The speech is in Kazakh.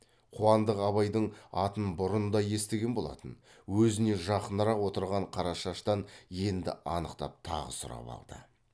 қуандық абайдың атын бұрын да естіген болатын өзіне жақынырақ отырған қарашаштан енді анықтап тағы сұрап алды